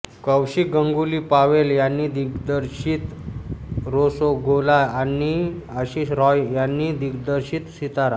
कौशिक गंगुली पावेल यांनी दिग्दर्शित रोसोगोला आणि आशिष रॉय यांनी दिग्दर्शित सितारा